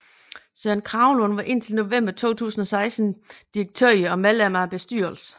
Søren Kragelund var indtil november 2016 direktør og medlem af bestyrelsen